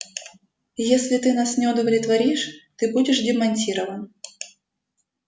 если ты нас не удовлетворишь ты будешь демонтирован